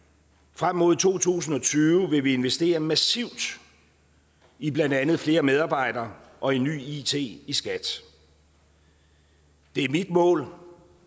frem mod to tusind og tyve vil vi investere massivt i blandt andet flere medarbejdere og i ny it i skat det er mit mål